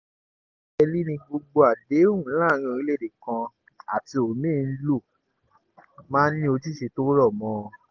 nẹ́gẹ́lì ní gbogbo àdéhùn láàrin orílẹ̀‐èdè kan àti omi-ín ló máa ń ní ojúṣe tó rọ̀ mọ́ ọn